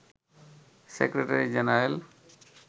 secretary general